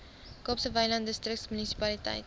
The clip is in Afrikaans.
kaapse wynland distriksmunisipaliteit